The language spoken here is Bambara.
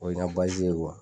O ye n ka